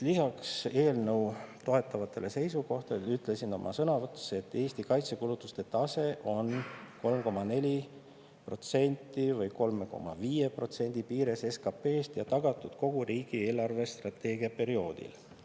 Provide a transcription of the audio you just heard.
Lisaks eelnõu toetavatele seisukohtadele ütlesin oma sõnavõtus, et Eesti kaitsekulutuste tase on 3,4% või 3,5% piires SKP-st ja see on tagatud kogu riigi eelarvestrateegia perioodil.